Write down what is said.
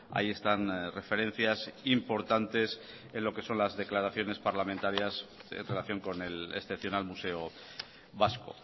ahí están referencias importantes en lo que son las declaraciones parlamentarias en relación con el excepcional museo vasco